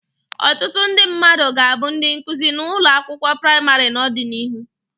Ọtụtụ ndị mmadụ ga-abụ ndị nkuzi na ụlọ akwụkwọ praịmarị n'ọdịnihu.